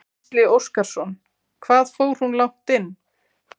Gísli Óskarsson: Hvað fór hún langt inn?